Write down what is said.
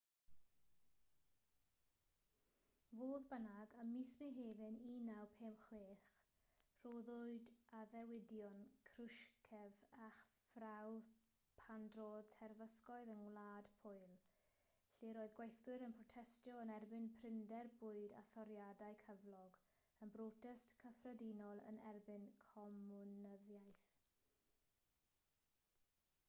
fodd bynnag ym mis mehefin 1956 rhoddwyd addewidion krushchev ar brawf pan drodd terfysgoedd yng ngwlad pwyl lle'r oedd gweithwyr yn protestio yn erbyn prinder bwyd a thoriadau cyflog yn brotest gyffredinol yn erbyn comiwnyddiaeth